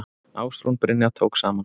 Ásrún Brynja tók saman.